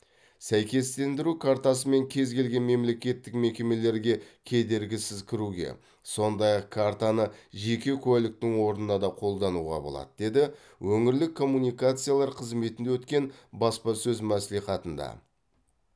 сәйкестендіру картасымен кез келген мемлекеттік мекемелерге кедергісіз кіруге сондай ақ картаны жеке куәліктің орнына да қолдануға болады деді өңірлік коммуникациялар қызметінде өткен баспасөз мәслихатында